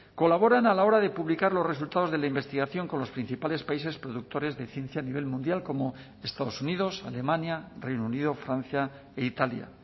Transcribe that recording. colaboran a la hora de publicar los resultados de la investigación con los principales países productores de ciencia a nivel mundial como estados unidos alemania reino unido francia e italia